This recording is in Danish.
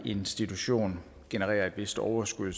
institution genererer et vist overskud